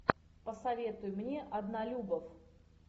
посоветуй мне однолюбов